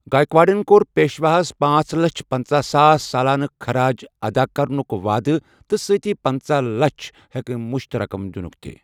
گایکواڑن کوٚر پیشواہس پانژھ لچھ پنژاہ ساس سالانہٕ خَراج ادا کرنُک وعدٕ تہٕ سٕتی پنٛژاہ لچھ یكھ مُشت رقم دِنُک تہِ ۔